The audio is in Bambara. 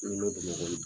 Nɔnɔ bamakɔ